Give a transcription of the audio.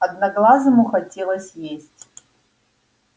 одноглазому хотелось есть